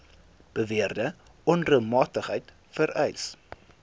beweerde onreëlmatigheid vereis